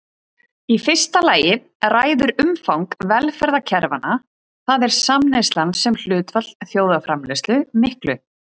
Í fyrsta lagi ræður umfang velferðarkerfanna, það er samneyslan sem hlutfall þjóðarframleiðslu miklu.